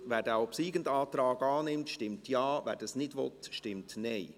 Wer den obsiegenden Antrag annimmt, stimmt Ja, wer dies nicht will, stimmt Nein.